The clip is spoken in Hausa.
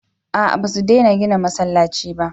a'a ba su dena gina masallaci ba